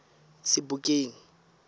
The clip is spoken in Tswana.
sebokeng